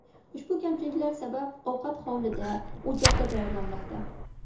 Ushbu kamchiliklar sabab ovqat hovlida, o‘choqda tayyorlanmoqda.